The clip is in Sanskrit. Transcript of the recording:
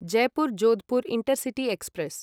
Jaipur Jodhpur intercity express